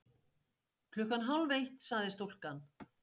Klukkan hálf eitt, sagði stúlkan.